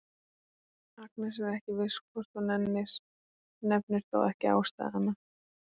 Agnes er ekki viss hvort hún nennir, nefnir þó ekki ástæðuna.